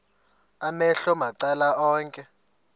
amehlo macala onke